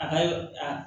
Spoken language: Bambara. A ka a